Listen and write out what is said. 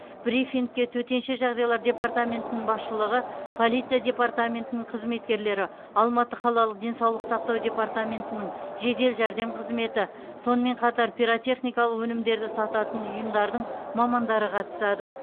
брифингке төтенше жағдайлар департаментінің басшылығы полиция департаментінің қызметкерлері алматы қалалық денсаулық сақтау департаментінің жедел жәрдем қызметі сонымен қатар пиротехникалық өнімдерді сататын ұйымдардың мамандары қатысады